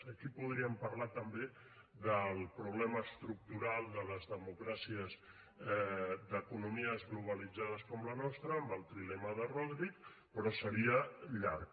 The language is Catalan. aquí podríem parlar també del problema estructural de les democràcies d’economies globalitzades com la nostra amb el trilema de rodrik però seria llarg